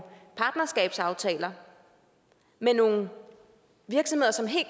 partnerskabsaftaler med nogle virksomheder som helt